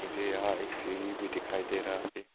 मुझे यहां एक सीरी भी दिखाई दे रहा है।